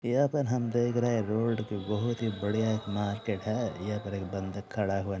यहाँ पर हम देख रहे है रोड ही बहुत ही बढ़िया एक मार्किट है यहाँ पर एक बन्दा खड़ा हुआ--